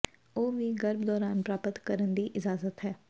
ਉਹ ਵੀ ਗਰਭ ਦੌਰਾਨ ਪ੍ਰਾਪਤ ਕਰਨ ਦੀ ਇਜਾਜ਼ਤ ਹੈ